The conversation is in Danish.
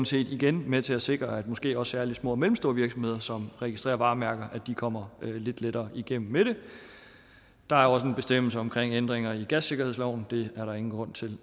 set igen med til at sikre at måske særlig små og mellemstore virksomheder som registrerer varemærker kommer lidt lettere igennem med det der er også en bestemmelse omkring ændringer i gassikkerhedsloven det er der ingen grund til